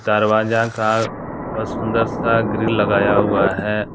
दरवाजा का बहुत सुन्दर सा ग्रिल लगाया हुआ है।